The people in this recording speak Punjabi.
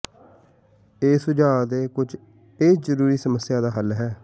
ਇਹ ਸੁਝਾਅ ਦੇ ਕੁਝ ਇਹ ਜ਼ਰੂਰੀ ਸਮੱਸਿਆ ਦਾ ਹੱਲ